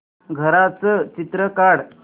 घराचं चित्र काढ